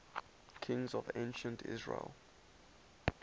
kings of ancient israel